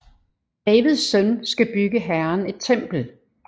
Davids søn skal bygge Herren et tempel